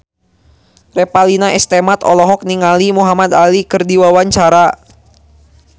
Revalina S. Temat olohok ningali Muhamad Ali keur diwawancara